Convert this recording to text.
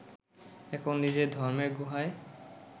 এখন নিজের ধর্মের গুহায়